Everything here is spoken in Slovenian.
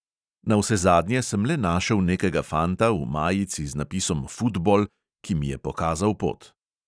Navsezadnje sem le našel nekega fanta v majici z napisom "futbol", ki mi je pokazal pot.